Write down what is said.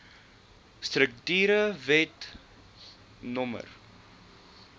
strukture wet no